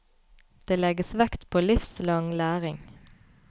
Det legges vekt på livslang læring.